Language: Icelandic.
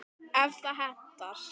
ef það hentar!